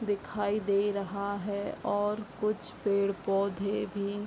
दिखाई दे रहा है और कुछ पेड़-पौधे भी --